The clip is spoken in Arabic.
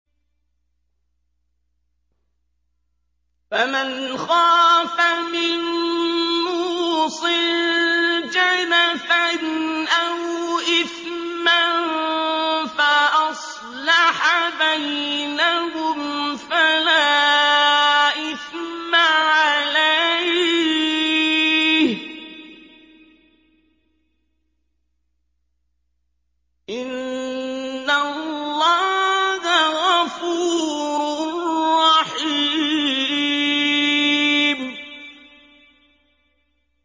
فَمَنْ خَافَ مِن مُّوصٍ جَنَفًا أَوْ إِثْمًا فَأَصْلَحَ بَيْنَهُمْ فَلَا إِثْمَ عَلَيْهِ ۚ إِنَّ اللَّهَ غَفُورٌ رَّحِيمٌ